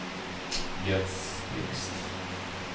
Jens Blixt